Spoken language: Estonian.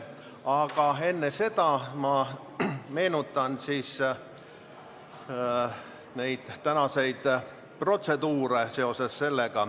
Aga enne seda meenutan ma tänaseid protseduure.